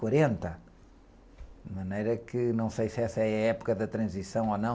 quarenta, de maneira que não sei se essa é a época da transição ou não.